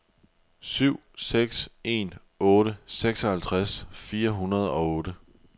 syv seks en otte seksoghalvtreds fire hundrede og otte